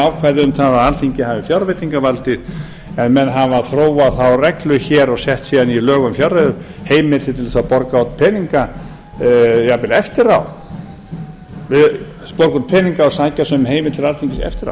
um að alþingi haf fjárveitingavaldið en menn hafa þróað þá reglu hér og sett í lög um fjárreiður heimildir til að borga út peninga jafnvel eftir á borga út peninga og sækja sem heimild til alþingis eftir